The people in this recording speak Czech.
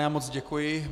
Já moc děkuji.